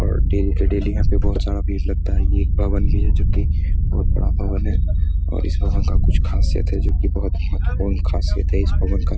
और daily daily यहां बहुत सारा भीड़ लगता है। ये एक भवन भी है। जो की बहुत बड़ा भवन है। और इस भवन का कुछ खासियत है जो की बहुत ही महत्वपूर्ण खासियत है इस भवन का |